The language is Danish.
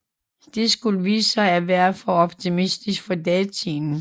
Det skulle vise sig at være for optimistisk for datiden